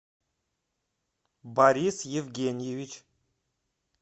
борис евгеньевич